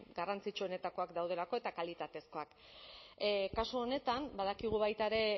garrantzitsuenetakoak daudelako eta kalitatezkoak kasu honetan badakigu baita ere